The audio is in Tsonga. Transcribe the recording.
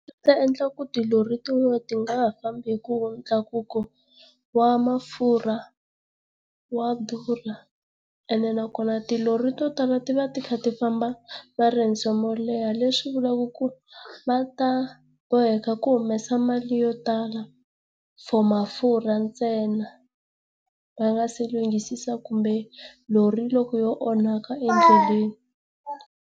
ta endla ku ri tilori tin'wana ti nga ha fambi hikuva ntlakuko wa mafurha wa durha ene nakona tilori to tala ti va ti kha ti famba maendzo mo leha leswi vulaka ku ri va ta boheka ku humesa mali yo tala for mafurha ntsena, va nga si lunghisisa kumbe lori loko yo onhaka endleleni.